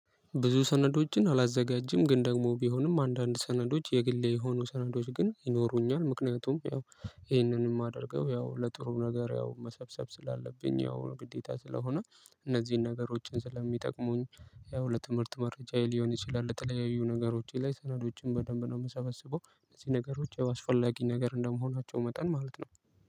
ብዙ ሰነዶችን አላዘጋጅም ግን ደግሞ ቢሆንም አንዳንድ ሰነዶች የግሌ የሆኑ ሰነዶች ግን ይኖሩኛል። ምክንያቱም ያው ይሄንን የማደርገው ያው ለጥሩ ነገር ያው መሰብሰብ ስላለብኝ ያው ግዴታ ስለሆነ እነዚህን ነገሮችን ስለሚጠቅሙኝ። ያው ለትምህርት መረጃዬ ሊሆን ይችላል ለተለያዩ ነገሮች ላይ ሰነዶችን በደንብ ነው የምሰበስበው። እነዚህ ነገሮች ያው አስፈላጊ ነገር እንደመሆናቸው መጠን ማለት ነው።